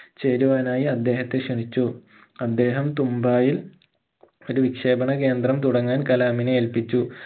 ചേരുവാനായി അദ്ദേഹത്തെ ക്ഷണിച്ചു അദ്ദേഹം തുമ്പായിൽ ഒരു വിക്ഷേപണ കേന്ദ്രം തുടങ്ങാൻ കലാമിനെ ഏല്പിച്ചു